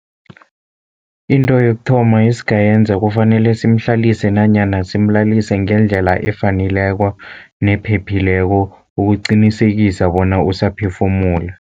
Into yokuthoma esingayenza kufanele simhlalise nanyana simlalise ngendlela efaneleko nephephileko, ukuqinisekisa bona usaphefumula.